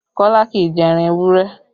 Kọ́lá kì í jẹ ẹran ewúrẹ́